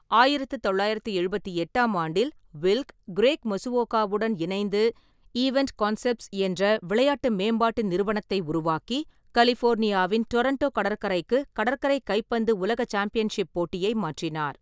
ஆயிரத்து தொள்ளாயிரத்து எழுபத்தெட்டாம் ஆண்டில், வில்க், கிரேக் மசுவோகாவுடன் இணைந்து ஈவென்ட் கான்செப்ட்ஸ் என்ற விளையாட்டு மேம்பாட்டு நிறுவனத்தை உருவாக்கி, கலிஃபோர்னியாவின் ரெடாண்டோ கடற்கரைக்கு கடற்கரை கைப்பந்து உலக சாம்பியன்ஷிப் போட்டியை மாற்றினார்.